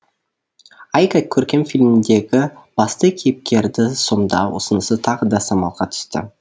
айка көркем фильміндегі басты кейіпкерді сомдау ұсынысы тағы да самалға түсті